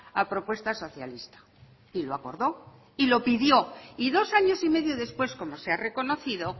a propuesta socialista y lo acordó y lo pidió y dos años y medio después como se ha reconocido